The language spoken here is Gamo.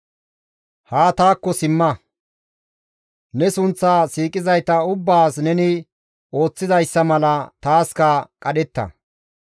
Haa taakko simma; ne sunththa siiqizayta ubbaas neni ooththizayssa mala taaska qadhetta.